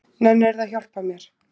Nennirðu að hjálpa mér?